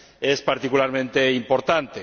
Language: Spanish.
es particularmente importante.